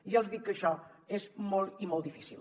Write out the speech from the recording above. ja els dic que això és molt i molt difícil